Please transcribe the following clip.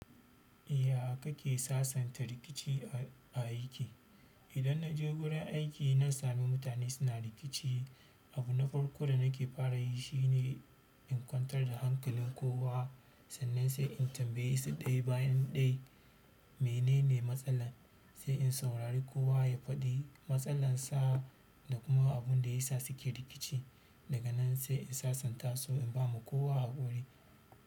Ya kake sasanta rikici a aiki? Idan na je wurin aiki na sami mutane suna rikici, abu na farko da na ke fara yi shi ne in kwantar da hankalin kowa sannan sai in tambaye su ɗaya bayan ɗaya menene matsalar, sai in saurari kowa ya faɗi matsalar sa da kuma abin da ya sa su ke rikici. Daga nan sai in sasanta su in ba ma kowa haƙuri.